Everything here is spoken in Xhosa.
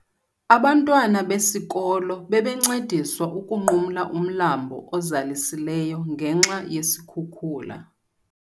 Abantwana besikolo bebencediswa ukunqumla umlambo ozalisileyo ngenxa yesikhukula.